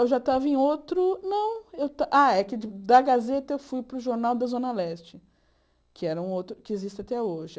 Eu já estava em outro... Não, eu esta... Ah, é que da Gazeta eu fui para o Jornal da Zona Leste, que era um outro que existe até hoje.